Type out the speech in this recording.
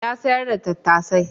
Ya sayar da tattasai.